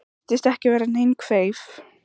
Hann virtist ekki vera nein kveif?